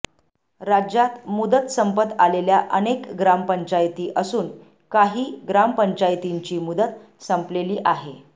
राज्यात मुदत संपत आलेल्या अनेक ग्रामपंचायती असून काही ग्रामपंचायतीची मुदत संपलेली आहे